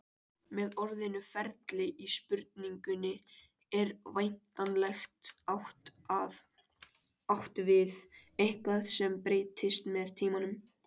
Með orðinu ferli í spurningunni er væntanlega átt við eitthvað sem breytist með tímanum.